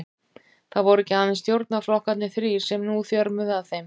Það voru ekki aðeins stjórnarflokkarnir þrír, sem nú þjörmuðu að þeim.